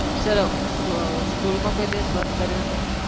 ચલો school માં કોઈ દિવસ bunk કર્યો છે.